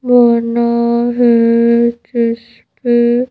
बना है जिस पे --